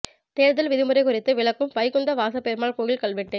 தேர்தல் விதிமுறை குறித்து விளக்கும் வைகுந்த வாசப் பெருமாள் கோயில் கல்வெட்டு